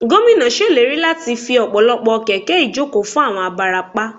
Gómìnà ṣèlérí láti fi ọ̀pọ̀lọpọ̀ kẹ̀kẹ́ ìjókòó fún àwọn abarapá